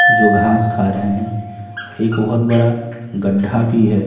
जो घास खा रहे हैं एक बहुत बड़ा गड्ढा भी है।